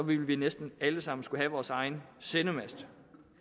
vil vi næsten alle sammen skulle have vores egen sendemast